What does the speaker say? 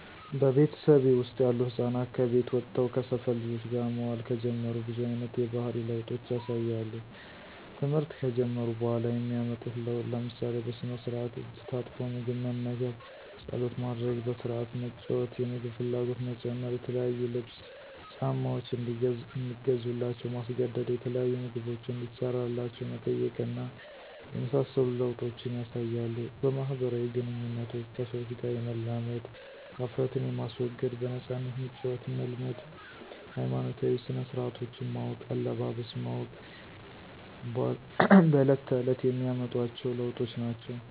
በቤተሰቤ ወስጥ ያሉ ህፃናት ከቤት ወጥተው ከሰፈር ልጆች ጋር መዋል ከጀመሩ ብዙ አይነት የባህሪ ለውጦች ያሳያሉ። ተምህርት ከጀመሩ በኋላ የሚያመጡት ለውጥ ለምሳሌ፦ በስነስራአት እጅ ታጥቦ ምግብ መመገብ፣ ፀሎት ማድረግ፣ በስረአት መጫዎት፣ የምግብ ፍላጎት መጨመር፣ የተለያዩ ልብስ፣ ጫማዎች እንዲገዙላቸው ማስገደድ፣ የተለያዩ ምግቦችን እንዲሰራላቸው መጠየቅ እና የመሳሰሉ ለወጦችን ያሳያሉ። በማህበራዊ ግንኙነቶች ከሰዎች ጋር የመላመድ፣ ሀፍረትን የማስወገድ፣ በነፃነት መጫወትን መልመድ ሀይማኖታዊ ስነስረአቶችን ማወቅ፣ አለባበስ ማወቅ በለት ተእለት የሚያመጧቸዎ ለዎጦች ናቸው።